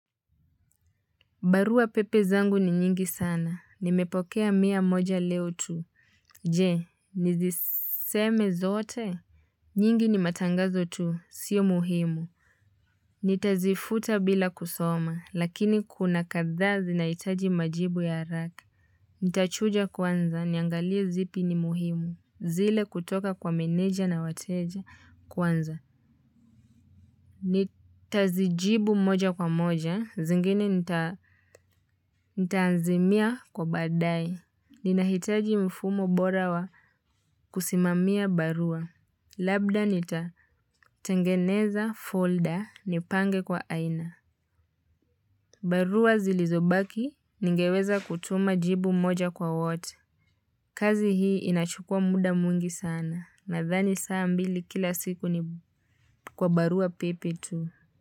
Barua pepe zangu ni nyingi sana. Nimepokea mia moja leo tu. Je, niziseme zote? Nyingi ni matangazo tu. Sio muhimu. Nitazifuta bila kusoma. Lakini kuna kathaa zinahitaji majibu ya haraka. Nitachuja kwanza. Niangalia zipi ni muhimu. Zile kutoka kwa meneja na wateja kwanza. Nita zijibu moja kwa moja zingine nitaazimia kwa baadae. Ninahitaji mfumo bora wa kusimamia barua. Labda nita tengeneza folder nipange kwa aina. Barua zilizobaki ningeweza kutuma jibu moja kwa wote. Kazi hii inachukua muda mwingi sana. Nathani saa mbili kila siku ni kwa barua pepe tu.